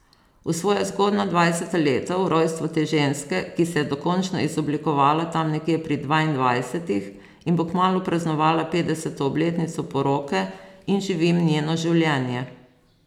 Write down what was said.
V svoja zgodnja dvajseta leta, v rojstvo te ženske, ki se je dokončno izoblikovala tam nekje pri dvaindvajsetih in bo kmalu praznovala petdeseto obletnico poroke in živim njeno življenje.